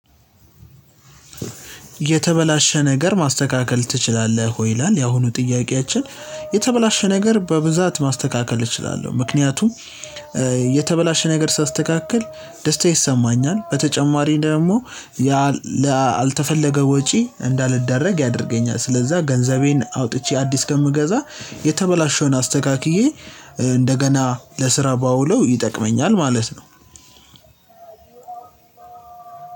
የተበላሸ ነገር ማስተካከል ትችላለህ ወይ? ይላል ያሁኑ ጥያቄያችን የተበላሸ ነገር በብዛት ማስተካከል እችላለሁ ምክንያቱም እ የተበላሸ ነገር ሳስተካክል ደስታ ይሰማኛል። በተጨማሪ ደግሞ ያል ላልተፈለገ ወጪ እንዳልደረግ ያደርገኛል። ስለዛ ገንዘቤን አውጥቼ አዲስ ከምገዛ የተበላሸውን አስተካክዬ እ እንደገና ለስራ ባውለው ይጠቅመኛል። ማለት ነው።